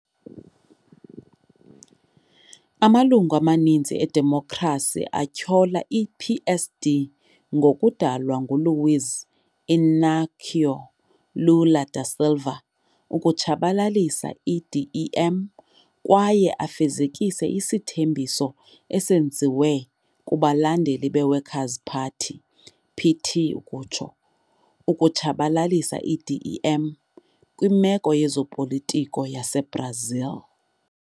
Amalungu amaninzi eDemokhrasi atyhola i-PSD ngokudalwa nguLuiz Inácio Lula da Silva ukutshabalalisa i-DEM kwaye afezekise isithembiso esenziwe kubalandeli be-Workers 'Party, PT, "ukutshabalalisa i-DEM kwimeko yezopolitiko yaseBrazil".